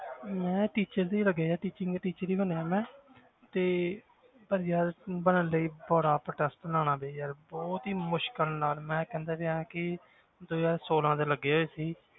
ਮੈਂ teacher ਹੀ ਲੱਗਿਆ teaching teacher ਹੀ ਬਣਿਆ ਮੈਂ ਤੇ ਪਰ ਯਾਰ ਬਣਨ ਲਈ ਬੜਾ ਬਹੁਤ ਹੀ ਮੁਸ਼ਕਲ ਨਾਲ, ਮੈਂ ਕਹਿੰਦਾ ਪਿਆਂ ਕਿ ਦੋ ਹਜ਼ਾਰ ਛੋਲਾਂ ਦੇ ਲੱਗੇ ਹੋਏ ਸੀ